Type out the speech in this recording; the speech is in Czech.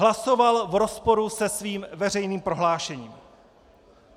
Hlasoval v rozporu se svým veřejným prohlášením.